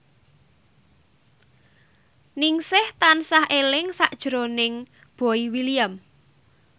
Ningsih tansah eling sakjroning Boy William